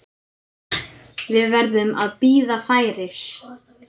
Við verðum að bíða færis.